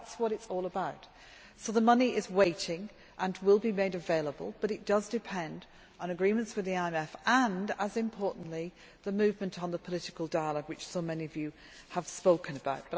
That is what it is all about. So the money is waiting and will be made available but it does depend on agreements with the IMF and, just as importantly, the movement on the political dialogue which so many of you have spoken about.